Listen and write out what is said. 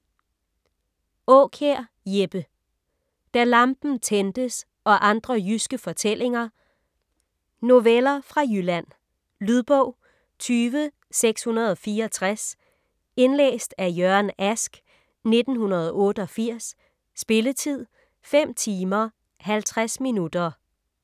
Aakjær, Jeppe: Da lampen tændtes og andre jyske fortællinger Noveller fra Jylland. Lydbog 20664 Indlæst af Jørgen Ask, 1988. Spilletid: 5 timer, 50 minutter.